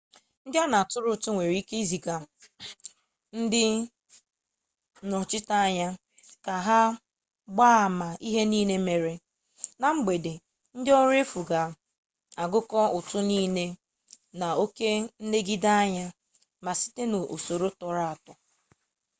ndị a na atụrụ ụtụ nwere ike iziga ndị nnọchiteanya ka ha gbaa ama ihe nile mere. na mgbede ndị ọrụ efu ga agụkọ ụtụ nile na oke nlegideanya ma site n'usoro atọrọ atọ